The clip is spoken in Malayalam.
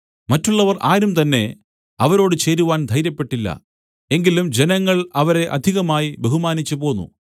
മറ്റുള്ളവർ ആരുംതന്നെ അവരോട് ചേരുവാൻ ധൈര്യപ്പെട്ടില്ല എങ്കിലും ജനങ്ങൾ അവരെ അധികമായി ബഹുമാനിച്ചുപോന്നു